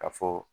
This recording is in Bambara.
Ka fɔ